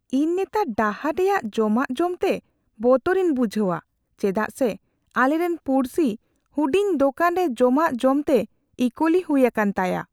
ᱤᱧ ᱱᱮᱛᱟᱨ ᱰᱟᱦᱟᱨ ᱨᱮᱭᱟᱜ ᱡᱚᱢᱟᱜ ᱡᱚᱢᱛᱮ ᱵᱚᱛᱚᱨᱤᱧ ᱵᱩᱡᱷᱟᱹᱣᱟ ᱪᱮᱫᱟᱜ ᱥᱮ ᱟᱞᱮᱨᱮᱱ ᱯᱩᱲᱥᱤ ᱦᱩᱰᱤᱧ ᱫᱳᱠᱟᱱ ᱨᱮ ᱡᱚᱢᱟᱜ ᱡᱚᱢᱛᱮ ᱤᱼᱠᱳᱞᱤ ᱦᱩᱭ ᱟᱠᱟᱱ ᱛᱟᱭᱟ ᱾